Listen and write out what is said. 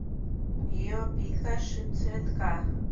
гио пика шип цветка